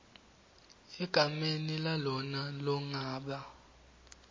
egameni lalona longaba